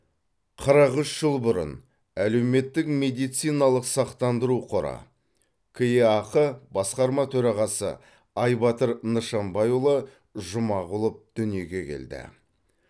қырық үш жыл бұрын әлеуметтік медициналық сақтандыру қоры кеақ басқарма төрағасы айбатыр нышанбайұлы жұмағұлов дүниеге келді